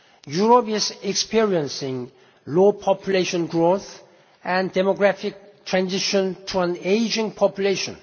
Europe is experiencing low population growth and demographic transition to an aging population.